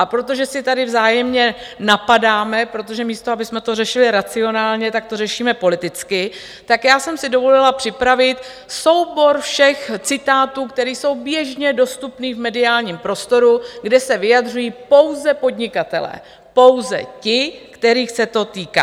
A protože se tady vzájemně napadáme, protože místo abychom to řešili racionálně, tak to řešíme politicky, tak já jsem si dovolila připravit soubor všech citátů, které jsou běžně dostupné v mediálním prostoru, kde se vyjadřují pouze podnikatelé, pouze ti, kterých se to týká.